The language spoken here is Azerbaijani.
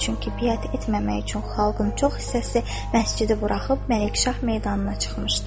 Çünki biət etməmək üçün xalqın çox hissəsi məscidi buraxıb Məlikşah meydanına çıxmışdı.